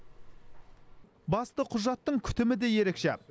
басты құжаттың күтімі де ерекше